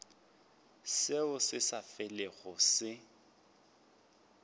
seo se sa felego se